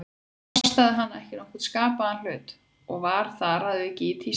Það kostaði hana ekki nokkurn skapaðan hlut, og var þar að auki í tísku.